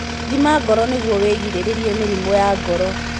Thima ngoro nĩguo wĩgirĩrĩrie mĩrimũ ya ngoro.